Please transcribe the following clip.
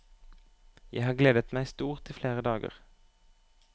Jeg har gledet meg stort i flere dager.